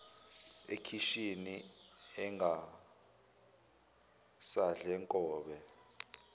ekhishini engasadle nkobe